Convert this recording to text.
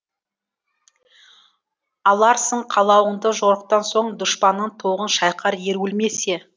аларсың қалауыңды жорықтан соң дұшпанның тоғын шайқар ер өлмесе